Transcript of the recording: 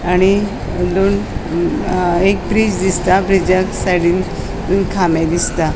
आणि दोन अ एक ब्रिज दिसता ब्रिजाक साइडीन अ खामे दिसता.